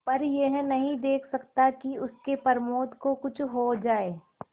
पर यह नहीं देख सकता कि उसके प्रमोद को कुछ हो जाए